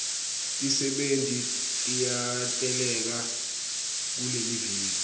tisebenti tiyateleka kuleliviki